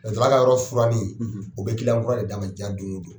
Haidara ka yɔrɔ furanni o bɛ kiliɲan kura de d'an ma diɲɛ don ko don